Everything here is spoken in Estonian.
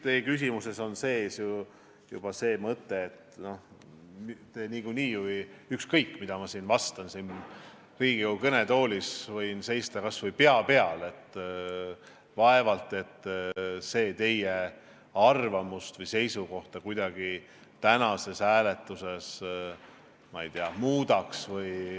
Teie küsimuses on sees juba mõte, et ükskõik, mida ma vastan siin Riigikogu kõnetoolis, ma võin seista kas või pea peal, vaevalt see teie arvamust või seisukohta tänases hääletuses muudaks.